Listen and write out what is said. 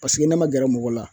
ne ma gɛrɛ mɔgɔ la